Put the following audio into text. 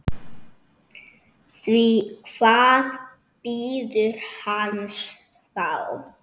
Því hvað bíður hans þá?